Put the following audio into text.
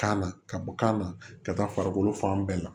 Kan na ka bɔ kan na ka taa farikolo fan bɛɛ la